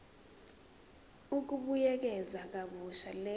ukubuyekeza kabusha le